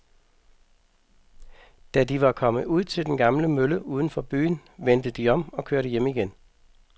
Da de var kommet ud til den gamle mølle uden for byen, vendte de om og kørte hjem igen.